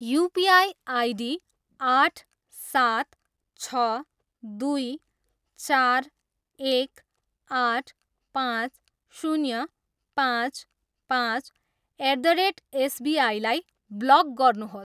UPI ID आठ, सात, छ, दुई, चार, एक, आठ, पाँच, शून्य, पाँच, पाँच, एट द रेट एसबिआईलाई ब्लक गर्नुहोस्।